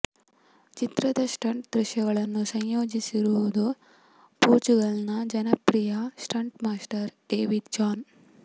ಚಿತ್ರದ ಸ್ಟಂಟ್ ದೃಶ್ಯಗಳನ್ನು ಸಂಯೋಜಿಸಿರುವುದು ಪೋರ್ಚುಗಲ್ನ ಜನಪ್ರಿಯ ಸ್ಟಂಟ್ ಮಾಸ್ಟರ್ ಡೆವಿಡ್ ಚಾನ್